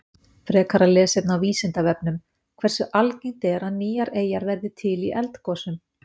Frekara lesefni á Vísindavefnum: Hversu algengt er að nýjar eyjar verði til í eldgosum?